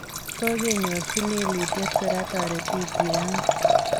Kokenyorji lelutiet kora toretikyik ang'wan .